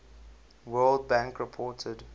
world bank reported